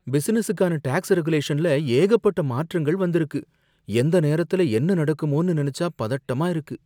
பிசினஸுக்கான tax ரெகுலேஷன்ல ஏகப்பட்ட மாற்றங்கள் வந்திருக்கு. எந்த நேரத்துல என்ன நடக்குமோனு நெனச்சா பதட்டமா இருக்கு.